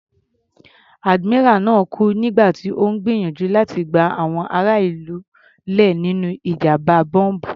Admiral náà kú nígbà tí Ó ń gbìyànjú láti gba àwọn ará ìlú là nínú ìjàmbá bọ́m̀bù.